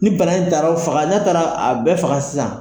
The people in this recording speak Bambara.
Nin bana in taar'o faga n'a taara a bɛɛ faga sisan.